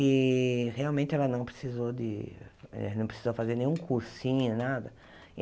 E, realmente, ela não precisou de eh não precisou fazer nenhum cursinho, nada.